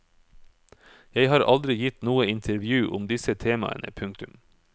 Jeg har aldri gitt noe intervju om disse temaene. punktum